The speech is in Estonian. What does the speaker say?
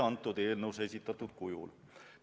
– mitte eelnõus esitatud kujul.